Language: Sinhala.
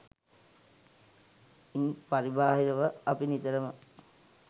ඉන් පරිබාහිරව අපි නිතරම